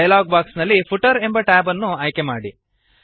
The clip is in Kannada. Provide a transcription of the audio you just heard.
ಡಯಲಾಗ್ ಬಾಕ್ಸ್ ನಲ್ಲಿ ಫೂಟರ್ ಎಂಬ ಟ್ಯಾಬ್ ಅನ್ನು ಆಯ್ಕೆ ಮಾಡಿ